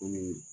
Komi